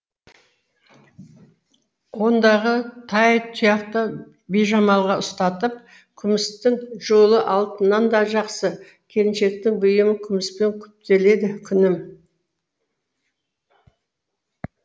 ондағы тайтұяқты бижамалға ұстатып күмістің жолы алтыннан да жақсы келіншектің бұйымы күміспен күптеледі күнім